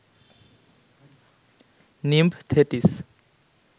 nymph Thetis